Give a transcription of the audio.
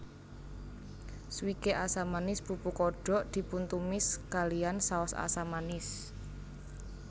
Swike asam manis pupu kodok dipuntumis kalihan saos asam manis